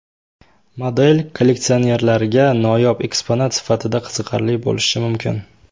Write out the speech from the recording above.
Model kolleksionerlarga noyob eksponat sifatida qiziqarli bo‘lishi mumkin.